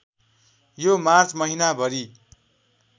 यो मार्च महिनाभरि